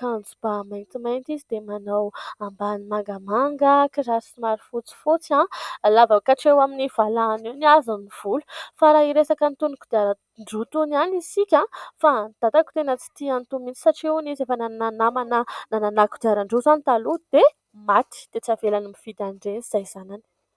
kanjoba mintomainty izy dia manao ambany mangamanga kizary sy marofotsy fotsy aho lavakatreho amin'ny valahin' eo ny azony volo fa raha hiresaka nitonoko diarandrotony ihany isika ahoo fa nidatako tena tsyti anotominy satrehony izy efa nannanamana nananayko diaran-drio izany taloha dia maty dia tsy avelany mividyan-dreny izay zanany